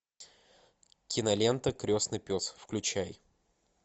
кинолента крестный пес включай